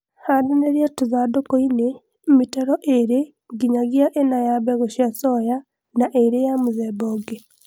handanĩria tũthandũkũinĩ mĩtaro ĩlĩ nginyagia ĩna ya mbegũ cia soya na ĩlĩ ya mũthemba ũngĩ